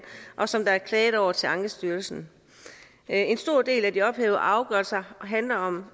og som der er klaget over til ankestyrelsen en stor del af de ophævede afgørelser handler om